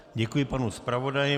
Děkuji panu zpravodaji.